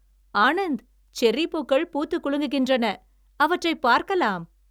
Anand, cherry பூக்கள் பூத்துக் குலுங்குகின்றன, அவற்றைப் பார்க்கலாம்.